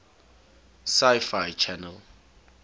sci fi channel